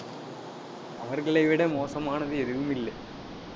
அவர்களை விட மோசமானது, எதுவும் இல்லை